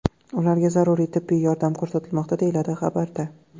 Ularga zaruriy tibbiy yordam ko‘rsatilmoqda”, deyiladi xabarda.